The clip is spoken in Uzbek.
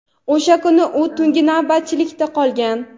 O‘sha kuni u tungi navbatchilikda qolgan.